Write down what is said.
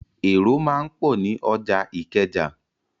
Èrò máa ń pọ̀ ní ọjà Ìkẹjà.